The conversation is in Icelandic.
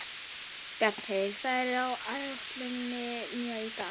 Bjarnhéðinn, hvað er á áætluninni minni í dag?